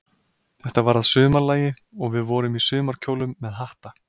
Þetta var að sumarlagi, og við vorum í sumarkjólum með hatta.